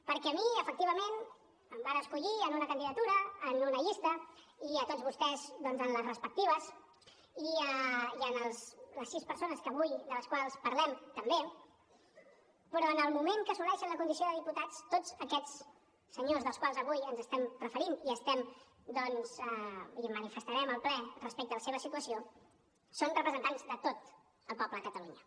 perquè a mi efectivament em van escollir en una candidatura en una llista i tots vostès doncs en les respectives i les sis persones de les quals avui parlem també però en el moment que assoleixen la condició de diputats tots aquests senyors als quals avui ens estem referint i manifestarem al ple respecte a la seva situació són representants de tot el poble de catalunya